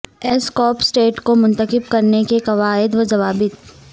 S corp state کو منتخب کرنے کے قواعد و ضوابط